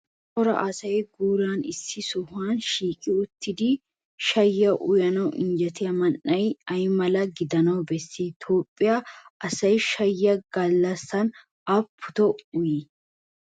Cora asay guuran issi sohuwan shiiqi uttidi shayyiya uyanawu injjetiya man"ee ay mala gidana besii? Toophphiya asay shayyiya gallassan aapputoo uyii?